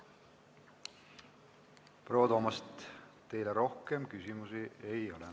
Proua Toomast, teile rohkem küsimusi ei ole.